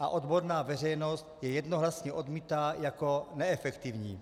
a odborná veřejnost je jednohlasně odmítá jako neefektivní.